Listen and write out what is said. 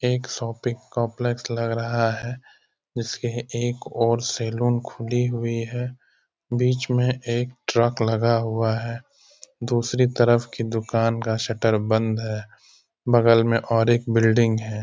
एक shopping complex लग रहा है जिसके एक और सैलून खुली हुई है। बीच में एक ट्रक लगा हुआ है। दूसरी तरफ की दुकान का शटर बंद है। बगल में और एक बिल्डिंग है।